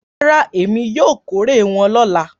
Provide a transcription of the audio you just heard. Rárá, èmi yóò kórè wọn lọ́la.